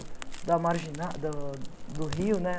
Da marginal do do rio né?